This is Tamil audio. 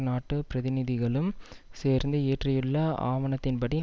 நாட்டுப் பிரதிநதிகளும் சேர்ந்து இயற்றியுள்ள ஆவணத்தின் படி